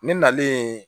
Ne nalen